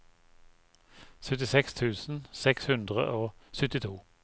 syttiseks tusen seks hundre og syttito